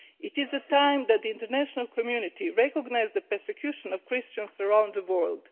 It is time that the international community recognised the persecution of Christians around the world.